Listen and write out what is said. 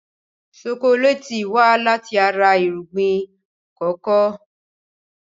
Ṣokoléètì wá láti ara irúgbìn kòkó.